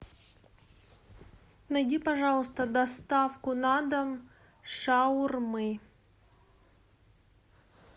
найди пожалуйста доставку на дом шаурмы